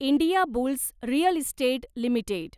Indiabulls real estate limited